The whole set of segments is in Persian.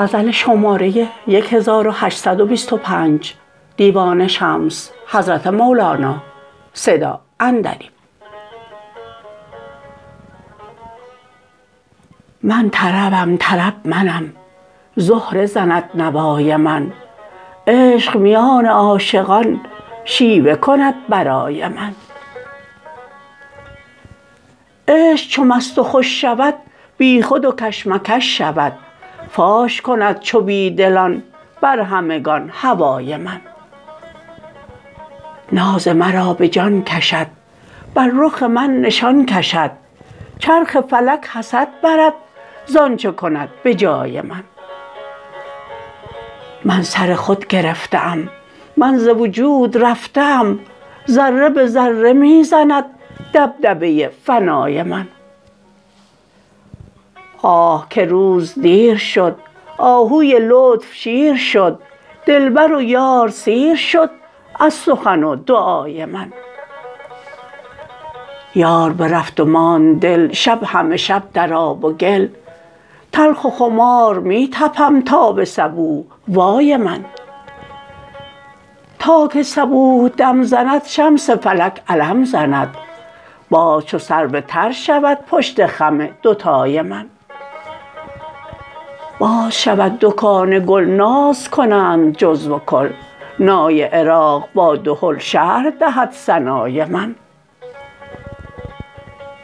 من طربم طرب منم زهره زند نوای من عشق میان عاشقان شیوه کند برای من عشق چو مست و خوش شود بیخود و کش مکش شود فاش کند چو بی دلان بر همگان هوای من ناز مرا به جان کشد بر رخ من نشان کشد چرخ فلک حسد برد ز آنچ کند به جای من من سر خود گرفته ام من ز وجود رفته ام ذره به ذره می زند دبدبه فنای من آه که روز دیر شد آهوی لطف شیر شد دلبر و یار سیر شد از سخن و دعای من یار برفت و ماند دل شب همه شب در آب و گل تلخ و خمار می طپم تا به صبوح وای من تا که صبوح دم زند شمس فلک علم زند باز چو سرو تر شود پشت خم دوتای من باز شود دکان گل ناز کنند جزو و کل نای عراق با دهل شرح دهد ثنای من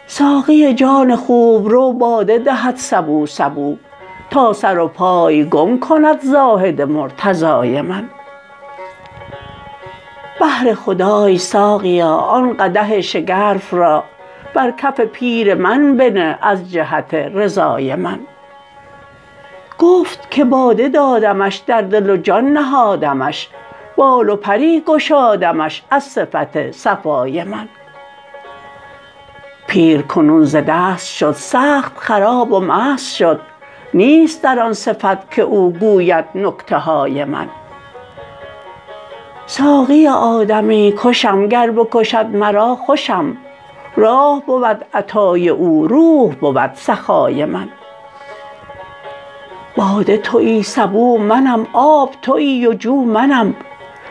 ساقی جان خوبرو باده دهد سبو سبو تا سر و پای گم کند زاهد مرتضای من بهر خدای ساقیا آن قدح شگرف را بر کف پیر من بنه از جهت رضای من گفت که باده دادمش در دل و جان نهادمش بال و پری گشادمش از صفت صفای من پیر کنون ز دست شد سخت خراب و مست شد نیست در آن صفت که او گوید نکته های من ساقی آدمی کشم گر بکشد مرا خوشم راح بود عطای او روح بود سخای من باده توی سبو منم آب توی و جو منم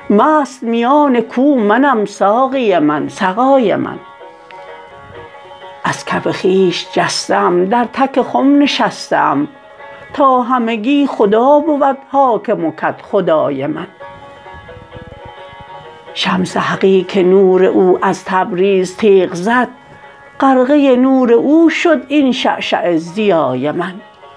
مست میان کو منم ساقی من سقای من از کف خویش جسته ام در تک خم نشسته ام تا همگی خدا بود حاکم و کدخدای من شمس حقی که نور او از تبریز تیغ زد غرقه نور او شد این شعشعه ضیای من